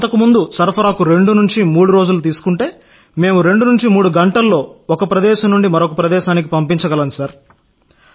అంతకుముందు దేశీయంగా సరఫరాకు 2 నుండి 3 రోజులు తీసుకుంటే మేం 2 నుండి 3 గంటల్లో ఒక ప్రదేశం నుండి మరొక ప్రదేశానికి పంపించగలం సార్